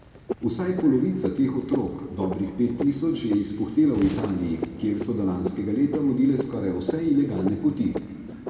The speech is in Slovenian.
Vsaj polovica teh otrok, dobrih pet tisoč, je izpuhtela v Italiji, kjer so do lanskega leta vodile skoraj vse ilegalne poti.